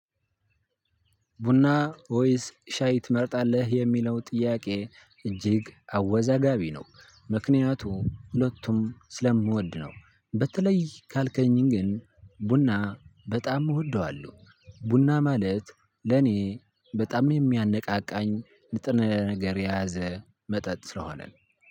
ቡና ወይስ ሻይ ትመርጣለህ የሚለው ጥያቄ እጅግ አወዛጋቢ ነው። ምክንያቱም ሁለቱንም ስለምወድ ነው። በተለይ ካልከኝን ግን ቡና በጣም እወደዋለሁ። ቡና ማለት ለኔ በጣም የሚያነቃቃኝ ንጥረነገር የያዘ መጠጥ ስለሆነ ነው።